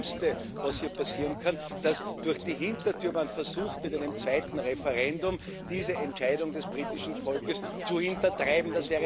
Das Schlimmste, was hier passieren kann, ist, dass man durch die Hintertür versucht, mit einem zweiten Referendum diese Entscheidung des britischen Volkes zu hintertreiben.